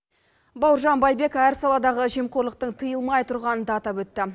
бауыржан байбек әр саладағы жемқорлықтың тыйылмай тұрғанын да атап өтті